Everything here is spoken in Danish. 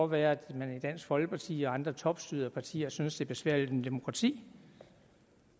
være at man i dansk folkeparti og andre topstyrede partier synes er besværligt med demokrati